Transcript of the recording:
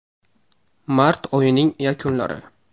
Mart oyining yakunlari.